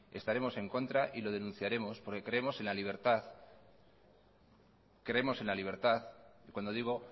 estaremos en contra y lo denunciaremos porque creemos en la libertad creemos en la libertad y cuando digo